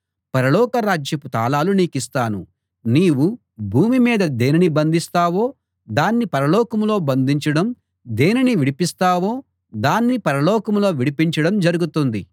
పరలోక రాజ్యపు తాళాలు నీకిస్తాను నీవు భూమి మీద దేనిని బంధిస్తావో దాన్ని పరలోకంలో బంధించడం దేనిని విడిపిస్తావో దాన్ని పరలోకంలో విడిపించడం జరుగుతుంది